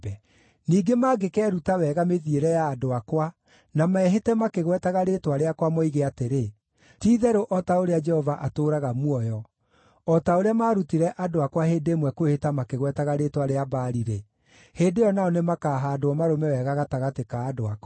Ningĩ mangĩkeruta wega mĩthiĩre ya andũ akwa na mehĩte makĩgwetaga rĩĩtwa rĩakwa moige atĩrĩ, ‘Ti-itherũ o ta ũrĩa Jehova atũũraga muoyo,’ o ta ũrĩa maarutire andũ akwa hĩndĩ ĩmwe kwĩhĩta makĩgwetaga rĩĩtwa rĩa Baali-rĩ, hĩndĩ ĩyo nao nĩmakahaandwo marũme wega gatagatĩ ka andũ akwa.